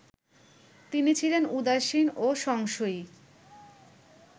তিনি ছিলেন উদাসীন ও সংশয়ী